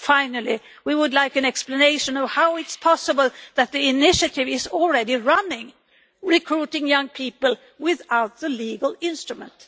Finally, we would like an explanation of how it is possible that the initiative is already running, recruiting young people without the legal instrument.